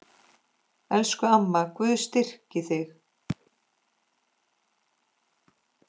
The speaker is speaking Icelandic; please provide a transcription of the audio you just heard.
Elsku amma, Guð styrki þig.